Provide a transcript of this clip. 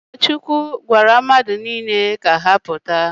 Ụkọchukwu gwara mmadụ niile ka ha pụta